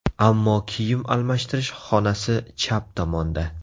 Ammo kiyim almashtirish xonasi chap tomonda.